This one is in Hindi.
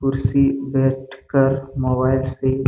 कुर्सी बैठ कर मोबाइल से--